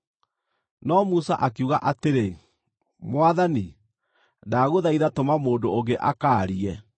No Musa akiuga atĩrĩ, “Mwathani, ndagũthaitha tũma mũndũ ũngĩ akaarie.”